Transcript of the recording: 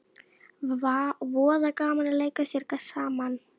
Voða gaman að leika sér saman